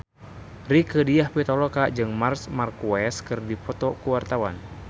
Rieke Diah Pitaloka jeung Marc Marquez keur dipoto ku wartawan